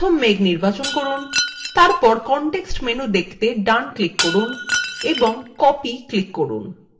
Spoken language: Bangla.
প্রথম মেঘ নির্বাচন করুন তারপর context menu দেখতে then click করুন এবং copy click করুন